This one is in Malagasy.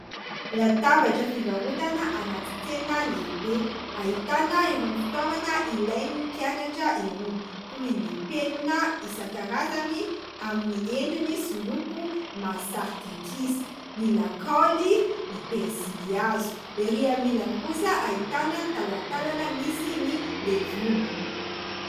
Latabatra fivarotana anaty tsena lehibe ahitana irony fitaovana ilain'ny mpianatra irony toy ny penina isan-karazany amin'ny endriny sy loko mahasarika ankizy ny lakaoly ny "pensily" hazo. Erỳ amin'ny ilany kosa ahitana ny talatalana misy ny legioma.